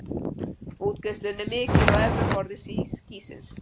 Útgeislun er mikil á efra borði skýsins.